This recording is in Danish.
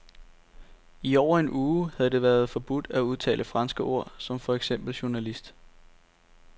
I over en uge havde det været forbudt at udtale franske ord som for eksempel journalist.